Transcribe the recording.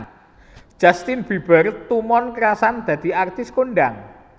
Justin Bieber tumon krasan dadi artis kondang